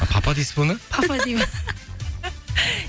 папа дейсіз бе оны папа деймін